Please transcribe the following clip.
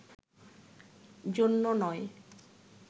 জন্য নয়